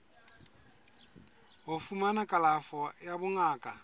ho fumana kalafo ya bongaka